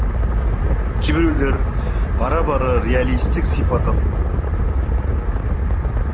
кейбіреулері бара бара реалистік сипат ала